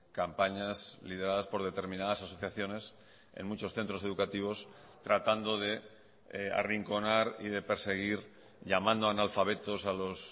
campañas lideradas por determinadas asociaciones en muchos centros educativos tratando de arrinconar y de perseguir llamando analfabetos a los